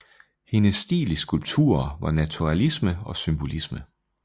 Hendes stil i skulpturer var naturalisme og symbolisme